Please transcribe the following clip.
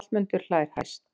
Hallmundur hlær hæst.